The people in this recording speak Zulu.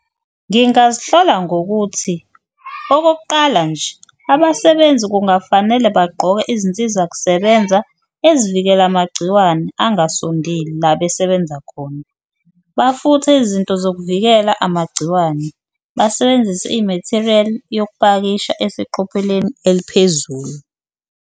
Ngingazihlola ngokuthi okokuqala nje abasebenzi kungafanele bagqoke izinsizakusebenza ezivikela amagciwane angasondeli la besebenza khona, bafuthe izinto zokuvikela amagciwane. Basebenzise i-material yokupakisha eseqopheleni eliphezulu.